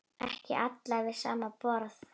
Ekki allir við sama borð?